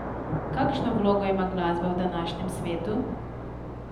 Kakšno vlogo ima glasba v današnjem svetu?